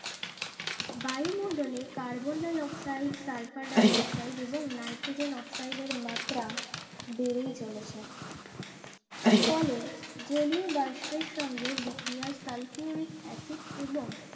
বায়ুমন্ডলে carbon dioxide sulphur dioxide এবং nitrogen অক্সাইডের মাত্রা বেরেই চলেছে ফলে জলীয় বাস্পর সঙ্গে বিক্রিয়ার সালফিউরিক অ্যাসিড এবং